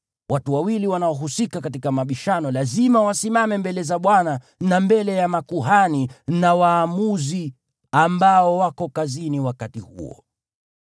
watu wawili wanaohusika katika mabishano lazima wasimame mbele za Bwana na mbele ya makuhani na waamuzi ambao wako kazini wakati huo.